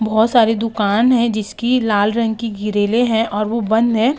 बहोत सारी दूकान है जिसकी लाल रंग की गीरेले है और वो बंद हैं।